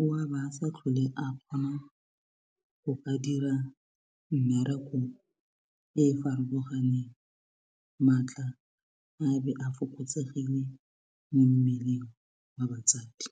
o a ba sa tlhole a kgona go ka dira mmereko e e farologaneng maatla a be a fokotsegile mo mmeleng wa batsadi.